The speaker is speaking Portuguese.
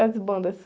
As bandas.